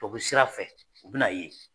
To be sira fɛ u bi n'a ye